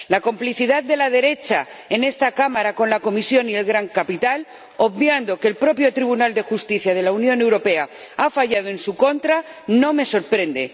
La complicidad de la derecha en esta Cámara con la Comisión y el gran capital, obviando que el propio Tribunal de Justicia de la Unión Europea ha fallado en su contra, no me sorprende.